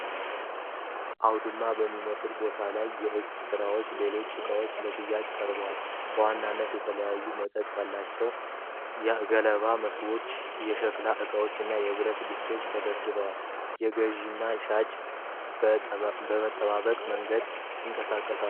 አውድማ በሚመስል ቦታ ላይ የእጅ ሥራዎችና ሌሎች ዕቃዎች ለሽያጭ ቀርበዋል። በዋናነት የተለያየ መጠን ያላቸው የገለባ መሶቦች፣ የሸክላ ዕቃዎች እና የብረት ድስቶች ተደርድረዋል። ገዢና ሻጮች በጠባቡ መንገድ ይንቀሳቀሳሉ።